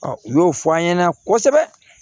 u y'o fɔ an ɲɛna kosɛbɛ